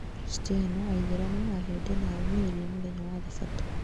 Akristiano, Aithĩramu, Ahĩndĩ, na arũmĩrĩri a mũthenya wa thabato.